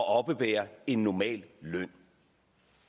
at oppebære en normal løn